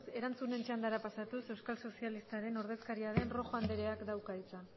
erantzunen txandara pasatuz euskal sozialistaren ordezkaria den roja andreak dauka hitza